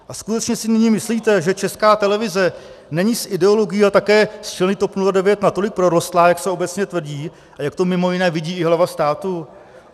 A skutečně si nyní myslíte, že Česká televize není s ideologií a také s členy TOP 09 natolik prorostlá, jak se obecně tvrdí a jak to mimo jiné vidí i hlava státu?